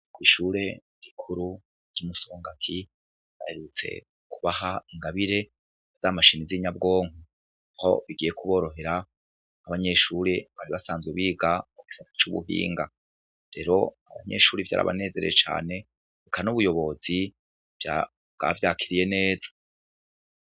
Kw'ishure rikuru ry'i Musongati baherutse kubaha ingabire z'amashini z'inyabwonko, aho bigiye kuborohera abanyeshuri bari basanzwe biga mugisata c'ubuhinga, rero abanyeshuri vyarabanezeye cane, reka n'ubuyobozi bwavyakiriye neza.